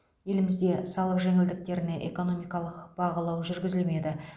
елімізде салық жеңілдіктеріне экономикалық бағалау жүргізілмеді